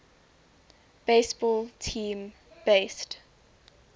baseball team based